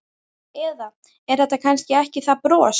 Eða er þetta kannski ekki það bros?